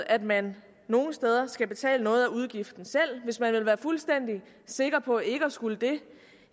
at man nogle steder skal betale noget af udgiften selv hvis man vil være fuldstændig sikker på ikke at skulle det